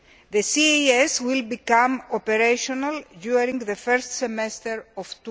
The CAS will become operational during the first semester